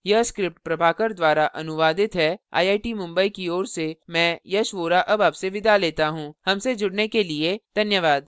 यह स्क्रिप्ट प्रभाकर द्वारा अनुवादित है आई आई टी मुंबई की ओर से मैं यश वोरा अब आपसे विदा लेता हूँ हमसे जुड़ने के लिए धन्यवाद